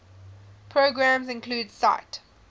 programs include sight